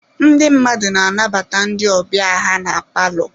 Ndị mmadụ na-anabata ndị ọbịa ha na palọ.